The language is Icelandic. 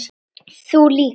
Þú líka?